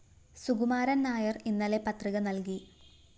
സുകുമാരന്‍ നായര്‍ ഇന്നലെ പത്രിക നല്‍കി